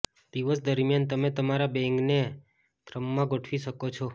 દિવસ દરમિયાન તમે તમારા બેંગને ક્રમમાં ગોઠવી શકો છો